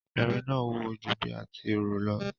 Irin náà wúwo ju bí a ti rò lọ.